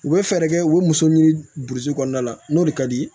U bɛ fɛɛrɛ kɛ u bɛ muso ɲini burusi kɔnɔna la n'o de ka di